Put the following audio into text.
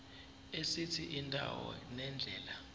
esithi indawo nendlela